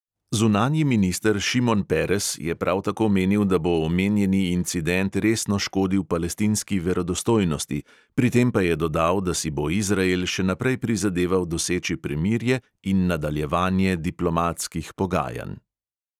Zunanji minister šimon peres je prav tako menil, da bo omenjeni incident resno škodil palestinski verodostojnosti, pri tem pa je dodal, da si bo izrael še naprej prizadeval doseči premirje in nadaljevanje diplomatskih pogajanj.